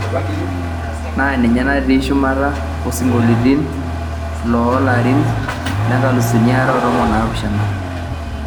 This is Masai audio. naa ninye natii shumata osinkoliotin xtoo larin le nkalusuni are o tomon o napishana